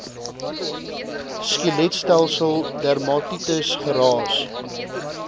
skeletstelsel dermatitis geraas